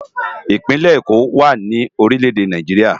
Ipinlè Ékó wá ni órilè édé Náijiriá